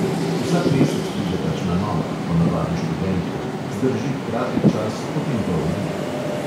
Vsak mesec pride kakšna nova, ponavadi študentka, zdrži kratek čas, potem pa odide.